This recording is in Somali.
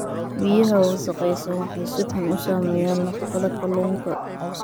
Biyaha wasakhaysan waxay si xun u saameeyaan nafaqada kalluunka.